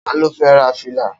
Ta ló fẹ́ ra fìlà?